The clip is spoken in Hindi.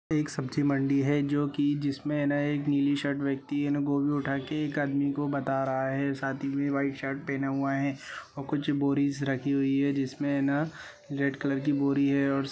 एक सब्जी मंडी है जो कि जिसमें न एक नीली शर्ट व्यक्ति इन गोभी उठा के एक आदमी को बता रहा है। साथ ही में व्हाइट शर्ट पहना हुआ है और कुछ बोरीज़ रखी हुई हैं जिसमें न रेड कलर की बोरी है और स् --